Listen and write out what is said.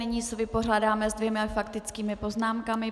Nyní se vypořádáme se dvěma faktickými poznámkami.